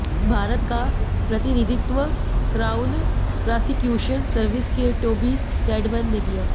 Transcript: भारत का प्रतिनिधित्व Crown Prosecution Service के टोबी कैडमैन ने किया